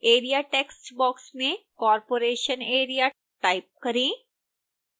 area text box में corporation area type करें